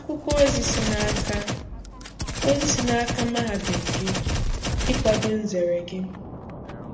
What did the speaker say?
Akwụkwọ ozi si n'aka ozi si n'aka mahadum gị ikwado nzere gị.